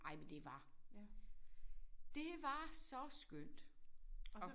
Ej men det var. Det var så skønt og